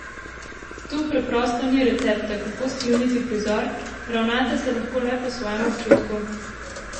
Tu preprosto ni recepta, kako skleniti prizor, ravnate se lahko le po svojem občutku.